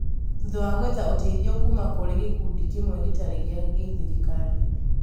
thutha wa gwetha ũteithio kuuma kũrĩ gĩkundi kĩmwe gĩtarĩ gĩa gĩthirikari